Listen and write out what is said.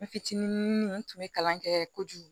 N fitinin n tun bɛ kalan kɛ kojugu